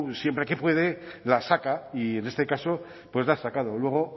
siempre que puede la saca y en este caso pues la ha sacado luego